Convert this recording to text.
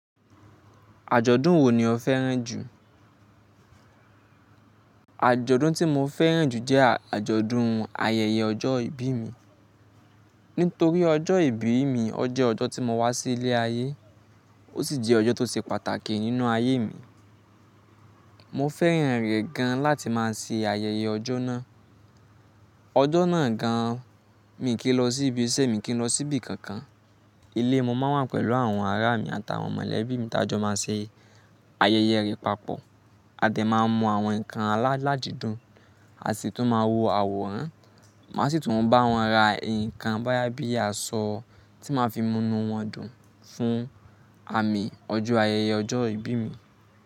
Àjọ̀dún wo ni o fẹ́ràn jù? Àjọ̀dún tí mo fẹ́ràn jù jẹ́ àjọ̀dún ayẹyẹ ọjọ́ ìbí mi. Nítorí ọjọ́ ìbí mi, ó jẹ́ ọjọ́ tí mo wá sí ilé ayé, ó sì jẹ́ ọjọ́ tó ṣe pàtàkì nínú ayé mi. Mo fẹ́ràn rẹ̀ gan láti máa ṣe ayẹyẹ ọjọ́ náà. Ọjọ́ náà gan mi i kì lọ sí ibi iṣẹ́ mi i kì ń lọ sí ibi kankan. Ilé mo máa ń wà pẹ̀lú àwọn ará mi àtàwọn mọ̀lẹ́bí mi tájọ máa ṣe ayẹyẹ rẹ̀ papọ̀. A dẹ̀ máa mú àwọn nǹkan aládìídùn, a sì tún máa wo àwòrán. Màá sì tún bá wọn ra nǹkan bóyá bíi aṣọ tí màá fi munu wọn dùn fún àmì ọjọ́ ayẹyẹ ọjọ́ ìbí mi.